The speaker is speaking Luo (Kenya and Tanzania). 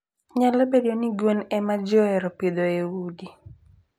Nyalo bedo ni gwen e ma ji ohero pidho e udi.